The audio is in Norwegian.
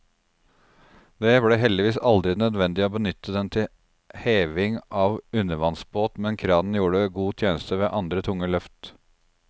Det ble heldigvis aldri nødvendig å benytte den til heving av undervannsbåt, men kranen gjorde god tjeneste ved andre tunge løft.